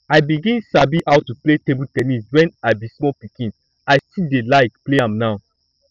i begin sabi how to play table ten nis when i be small pikin i still dey like play am now